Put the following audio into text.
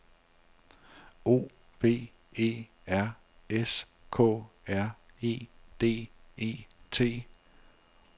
O V E R S K R E D E T